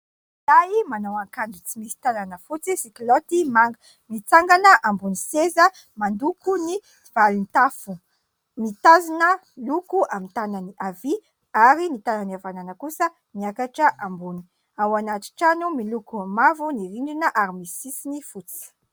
lehilahy manao ankanjo tsy misy tanana fotsy sy kilaoty manga, mitsangana ambony seza, mandoko ny valintafo, mitazina loko amin'ny tanany havia ary ny tanany havanana kosa miakatra ambony , ao anaty trano miloko mavo ny rindrina ary misy sisiny fotsy